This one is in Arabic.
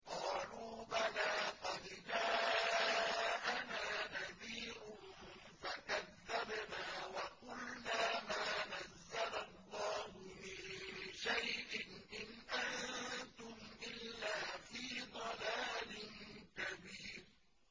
قَالُوا بَلَىٰ قَدْ جَاءَنَا نَذِيرٌ فَكَذَّبْنَا وَقُلْنَا مَا نَزَّلَ اللَّهُ مِن شَيْءٍ إِنْ أَنتُمْ إِلَّا فِي ضَلَالٍ كَبِيرٍ